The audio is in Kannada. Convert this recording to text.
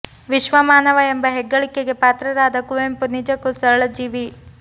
ವಿಶ್ವ ಮಾನವ ಎಂಬ ಹೆಗ್ಗಳಿಕೆಗೆ ಪಾತ್ರರಾದ ಕುವೆಂಪು ನಿಜಕ್ಕೂ ಸರಳ ಜೀವಿ